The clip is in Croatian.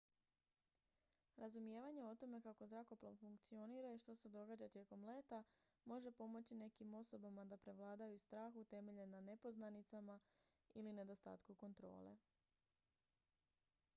razumijevanje o tome kako zrakoplov funkcionira i što se događa tijekom leta može pomoći nekim osobama da prevladaju strah utemeljen na nepoznanicama ili nedostatku kontrole